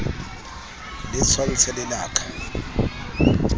le tshwantshe le la ka